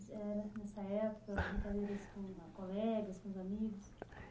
É nessa época. Brincadeiras com colegas, com amigos?